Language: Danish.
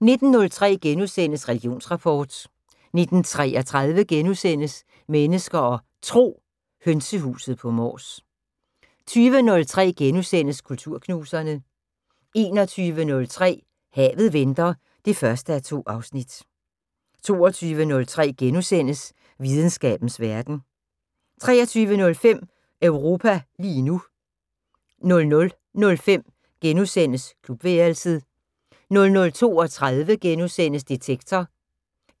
19:03: Religionsrapport * 19:33: Mennesker og Tro: Hønsehuset på Mors * 20:03: Kulturknuserne * 21:03: Havet venter 1:2 22:03: Videnskabens Verden * 23:05: Europa lige nu 00:05: Klubværelset * 00:32: Detektor *